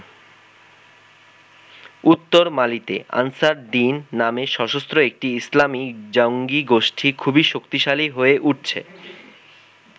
উত্তর মালিতে Ansar Dine নামে সশস্ত্র একটি ইসলামী জঙ্গী গোষ্ঠি খুবই শক্তিশালী হয়ে উঠছে।